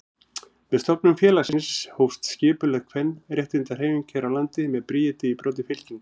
Með stofnun félagsins hófst skipulögð kvenréttindahreyfing hér á landi með Bríeti í broddi fylkingar.